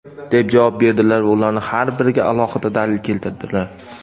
deb javob berdilar va ularning har biriga alohida dalil keltirdilar:.